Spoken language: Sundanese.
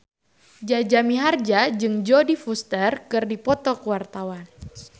Jaja Mihardja jeung Jodie Foster keur dipoto ku wartawan